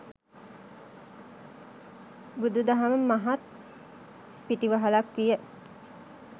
බුදුදහම මහත් පිටිවහලක් විය.